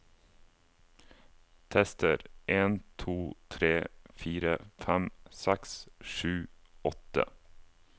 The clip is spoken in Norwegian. Tester en to tre fire fem seks sju åtte